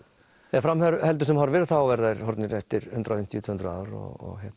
ef fram heldur sem horfir verða þeir horfnir eftir hundrað og fimmtíu til tvö hundruð ár og